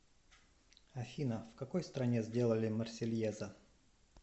афина в какой стране сделали марсельеза